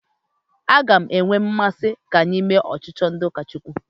A ga m enwe mmasị ka anyị mee ọchịchị ndị ụka Chukwu.